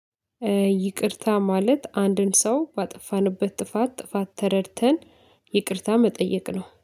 ይቅርታ ማለት አንድን ሰው ባጠፋንበት ጥፋት ጥፋት ተረድተን ይቅርታ መጠየቅ ነው